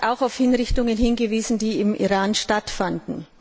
Er hat auf Hinrichtungen hingewiesen, die im Iran stattfanden.